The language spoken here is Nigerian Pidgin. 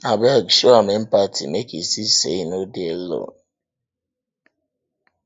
abeg show am empathy make e see am sey e no dey alone